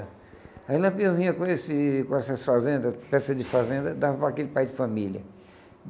Aí o Lampião vinha com esse com essas fazendas, peça de fazenda, dava para aquele pai de família.